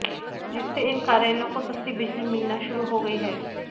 जिससे इन कार्यालयों को सस्ती बिजली मिलना शुरू हो गई है